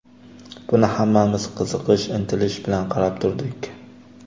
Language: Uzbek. Buni hammamiz qiziqish, intilish bilan qarab turdik.